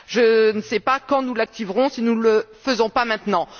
je ne sais pas quand nous l'activerons, si nous ne le faisons pas maintenant.